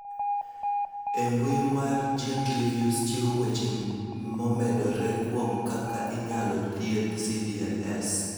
E mbui mar GeneReviews chiwo weche momedore kuom kaka inyalo thiedh CdLS.